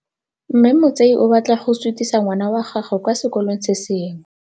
Mme Motsei o batla go sutisa ngwana wa gagwe kwa sekolong se sengwe.